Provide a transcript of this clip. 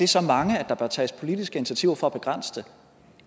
så mange at der bør tages politiske initiativer for at begrænse det